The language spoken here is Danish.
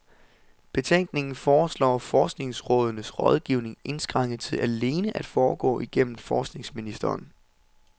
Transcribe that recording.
Betænkningen foreslår forskningsrådenes rådgivning indskrænket til alene at foregå igennem forskningsministeren.